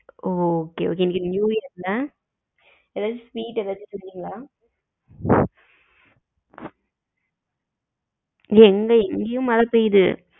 ஒ okay okay இணைக்கு new year ல எதாவது sweet எதாவது செஞ்சிங்களா இல்ல இங்கயும் மழை பெயுது